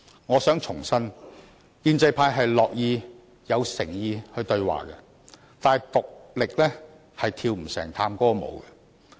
我想重申，建制派很樂意，亦很有誠意對話，但一人是跳不成探戈舞的。